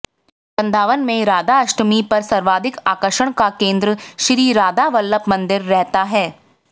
वृंदावन में राधाष्टमी पर सर्वाधिक आकर्षण का केंद्र श्रीराधावल्लभ मंदिर रहता है